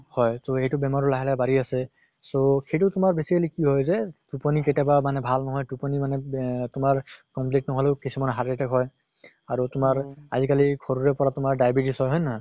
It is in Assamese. হয় তʼ এইটো বেমাৰ লাহে লাহে বাঢ়ি আছে so সেইটো তোমাৰ basically কি হয় যে টোপনী কেতিয়াবা ভাল ন্হয়, টোপনী মানে বেহ তোমাৰ complete নহʼলেও কিছুমানৰ heart attack হয়। আৰু তোমাৰ আজি কালি সৰুৰে পৰা তোমাৰ diabetes হয় হয় নে নহয়?